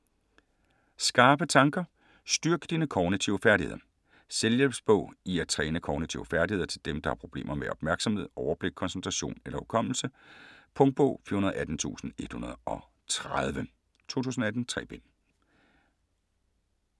Skarpe tanker: styrk dine kognitive færdigheder Selvhjælpsbog i at træne kognitive færdigheder til dem der har problemer med opmærksomhed, overblik, koncentration eller hukommelse. Punktbog 418130 2018. 3 bind.